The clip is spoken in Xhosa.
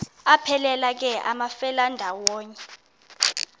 aphelela ke amafelandawonye